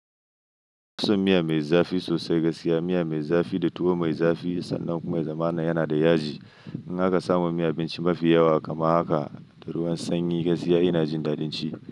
Nafi son miya mai zafi sosai, gaskiya miya mai zafi da tuwo mai zafi sannan kuma zamanana yana da yaji. In aka samu miyan abinci mafi yawa kaman haka da ruwan sanyi, gaskiya ina jin daɗin ci.